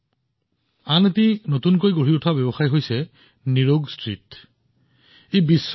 লগতে আন এটা ষ্টাৰ্টআপ আছে নিৰোগষ্ট্ৰীট যি আয়ুৰ্বেদ স্বাস্থ্যসেৱা পৰিস্থিতিতন্ত্ৰত এক অনন্য ধাৰণা